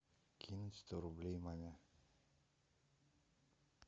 кинуть сто рублей маме